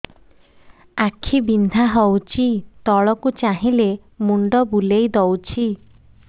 ଆଖି ବିନ୍ଧା ହଉଚି ତଳକୁ ଚାହିଁଲେ ମୁଣ୍ଡ ବୁଲେଇ ଦଉଛି